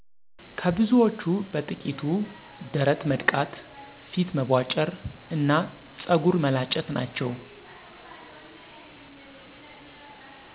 ከብዙዎቹ በጥቂቱ ደረት መድቃት፣ ፊት መቧጨር እና ፀጉር መላጨት ናቸው።